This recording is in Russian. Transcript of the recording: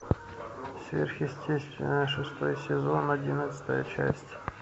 сверхъестественное шестой сезон одиннадцатая часть